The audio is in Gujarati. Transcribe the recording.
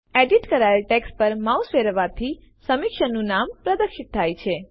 એડિટ કરાયેલ ટેક્સ્ટ પર માઉસ ફેરવવાથી સમીક્ષકનું નામ પ્રદર્શિત થશે